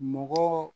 Mɔgɔ